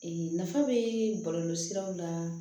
nafa bɛ bɔlɔlɔ siraw la